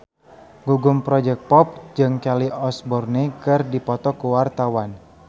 Gugum Project Pop jeung Kelly Osbourne keur dipoto ku wartawan